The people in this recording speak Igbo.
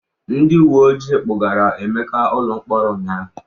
Ndị uwe ojii kpụgara Emeka ụlọ mkpọrọ ụnyaahụ.